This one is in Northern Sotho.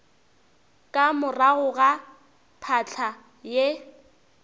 ka morago ga phahla ye